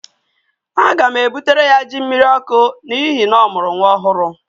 Aga m ebutere ya jí mmiriọkụ n'ihi na ọ mụrụ nwa ọhụrụ